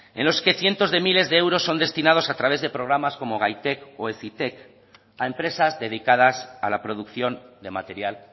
en los que cientos de miles de euros son destinados a través de programas como gaitek o hezitek a empresas dedicadas a la producción de material